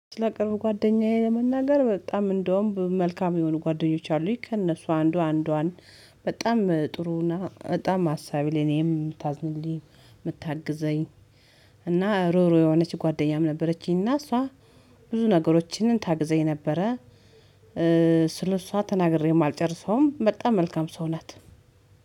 ስለ ቅርብ ጓደኛዬ ለመናገር በጣም እንደውም መልካም የሆኑ ጓደኞች አሉኝ ከእነሱ አንዷ አንዷን በጣም ጥሩና በጣም አሳቢ ለኔም የምታዝንልኝ የምታግዘኝ እና ሩህሩህ የሆነች ጓደኛም ነበረችኝ እና እሷ ብዙ ነገሮችን ታግዘኝ ነበረ። ስለእሷ ተናግሬም አልጨርሰውም በጣም መልካም ሰው ናት።